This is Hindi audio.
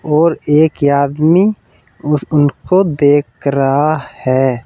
और एक आदमी उस उनको देख रहा है।